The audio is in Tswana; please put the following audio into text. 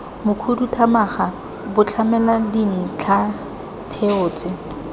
mokhuduthamaga bo tlamela dintlhatheo tse